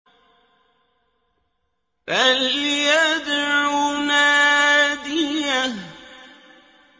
فَلْيَدْعُ نَادِيَهُ